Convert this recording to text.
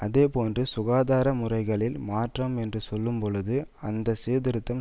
அதே போன்று சுகாதார முறைகளில் மாற்றம் என்று சொல்லும்போது அந்த சீர்திருத்தம்